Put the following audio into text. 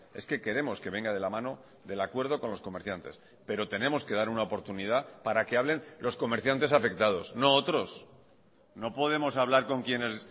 es que queremos que venga de la mano del acuerdo con los comerciantes pero tenemos que dar una oportunidad para que hablen los comerciantes afectados no otros no podemos hablar con quienes